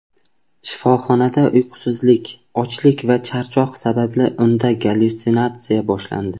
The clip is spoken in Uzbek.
Shifoxonada uyqusizlik, ochlik va charchoq sababli unda gallyutsinatsiya boshlandi.